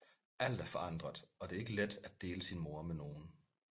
Alt er forandret og det er ikke let at dele sin mor med nogen